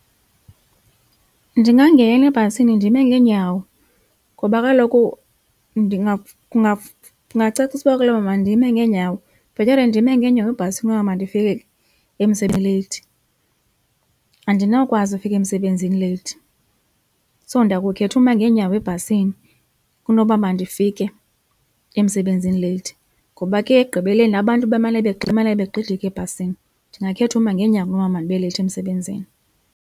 Ndingangena ebhasini ndime ngeenyawo ngoba kaloku kungacaciseka ukuba ndime ngeenyawo bhetere ndime ngeenyawo ebhasi kunoba mandifike emsebenzini leyithi. Andinawukwazi ukufika emsebenzini leyithi so ndakukhetha uma ngeenyawo ebhasini kunoba mandifike emsebenzini leyithi ngoba ke ekugqibeleni abantu bemane begxidika ebhasini. Ndingakhetha uma ngeenyawo kunoba mandibe leyithi emsebenzini.